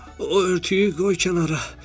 O örtüyü qoy kənara.